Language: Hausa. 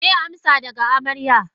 Meye amsa daga amarya?